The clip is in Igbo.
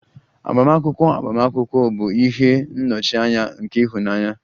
Agbamakwụkwọ agbamakwụkwọ bụ ihe nnọchianya nke ịhụnanya